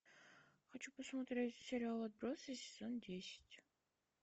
хочу посмотреть сериал отбросы сезон десять